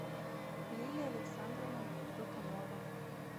лилия александровна докунова